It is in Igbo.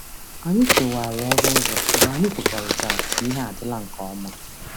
Anyị kewara ọrụ ọzọ mgbe anyị kwekọrịtara na ihe adịla nke ọma.